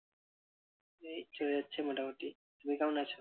এই চলে যাচ্ছে মোটামোটি। তুমি কেমন আছো?